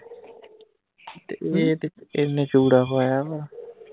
ਤੇ ਇਹ ਤੇ ਇਹਨੇ ਚੂੜਾ ਪਾਇਆ ਵਾਂ